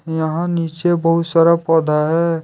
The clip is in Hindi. यहा नीचे बहुत सारा पौधा है।